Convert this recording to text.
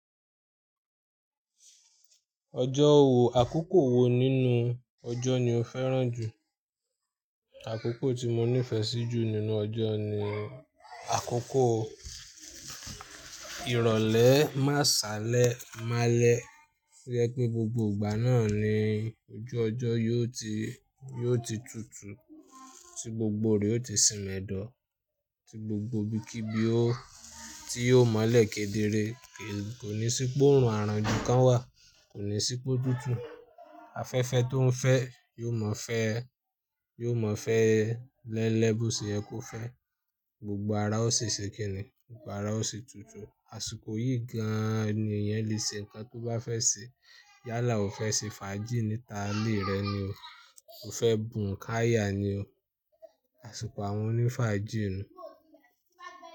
Ọjọ́ wo, àkókò wo nínú ọjọ́ ni o fẹ́ràn jù? Àkókò tí mo nífẹ̀ẹ́ sí jù nínú ọjọ́ ni àkókò ìrọ̀lẹ́ máṣálẹ̀ málẹ́. Tojẹ pé gbogbo ìgbà náà ni ojú ọjọ́ yóò ti, yóò ti tutù, tí gbogbo rẹ̀ ó ti sìmẹ́dọ̀, tí gbogbo ibi kí ibi ó, tí yóò mọ́lẹ̀ kedere. Kò ní sí pé óorun arán ju kan wà. Kò ní sí pé ó tutù. Afẹ́fẹ́ tó ń fẹ́, yóò mọ̀ fẹ́, yóò mọ̀ fẹ́ lẹ́ńlẹ̀ bó ṣe yẹ kó fẹ́. Gbogbo ara ó ṣi ṣè kìnì, gbogbo ara ó ṣi tutù. Àsìkò yìí gan-an ni èèyàn lè ṣe nǹkan tó bá fẹ́ ṣe. Yálà o fẹ́ ṣe fàájì níta ilé rẹ ni o. O fẹ́ bùnká yà ni o. Àsìkò àwọn oní fàájì ni.